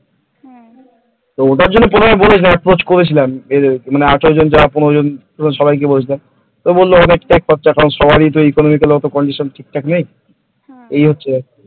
তো ওটার জন্য প্রথমে সবাইকে বলেছিলাম approach করেছিলাম আঠেরো জন যা পনেরো জন যারা, সবাই কি বলেছিলাম তো বলল অনেক খরচা, সবারই নাকি ইকোনমি কন্ডিশন ঠিকঠাক নেই কন্ডিশন ঠিকঠাক নেই এই হচ্ছে ব্যাপার,